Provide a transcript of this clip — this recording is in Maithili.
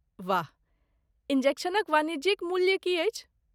वाह, इन्जेक्शनक वाणिज्यिक मूल्य की अछि?